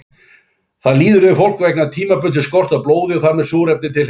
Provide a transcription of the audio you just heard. Það líður yfir fólk vegna tímabundins skorts á blóði og þar með súrefni til heilans.